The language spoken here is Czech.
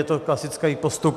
Je to klasický postup.